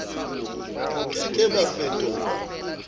bo ke ke ba fetolwa